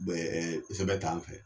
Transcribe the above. Bɛ ɛ sɛbɛn t'an fɛ